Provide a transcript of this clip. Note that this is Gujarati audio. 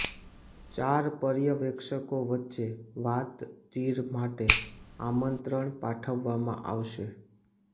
ચાર પર્યવેક્ષકો વચ્ચે વાતચીર માટે આમંત્રણ પાઠવવામાં આવશે